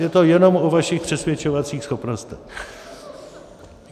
Je to jenom o vašich přesvědčovacích schopnostech.